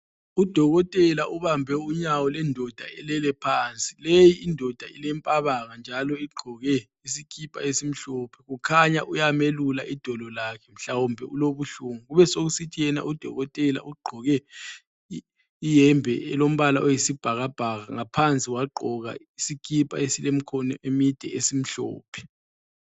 UDokotela ubambe unyawo lwendoda elele phansi. Leyi indoda ilempabanga njalo igqoke isikipa esimhlophe. Kukhanya uyamelula idolo lakhe mhlawumbe ulobuhlungu. Kube sekusithi yena uDokotela ugqoke iyembe elombala oyisibhakabhaka ngaphansi wagqoka isikipa esilemkhono emide esimhlophe.